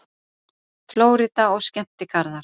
FLÓRÍDA OG SKEMMTIGARÐAR